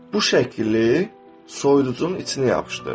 Bu şəkili soyuducunun içinə yapışdır.